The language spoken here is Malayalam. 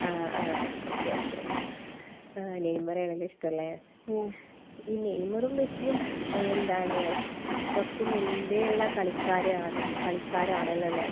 ആ. ആ. ഓക്കെ. ഓക്കെ. നെയ്മറെ ആണല്ലേ ഇഷ്ടമുള്ളേ? ഈ നെയ്മറും മെസ്സിയും കുറച്ച് മുൻപേയുള്ള കളിക്കാരാണല്ലോ അല്ലെ?